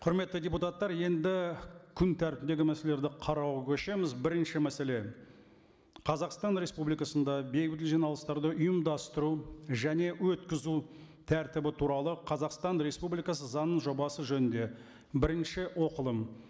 құрметті депутаттар енді күн тәртібіндегі мәселелерді қарауға көшеміз бірінші мәселе қазақстан республикасында бейбіт жиналыстарды ұйымдастыру және өткізу тәртібі туралы қазақстан республикасы заңының жобасы жөнінде бірінші оқылым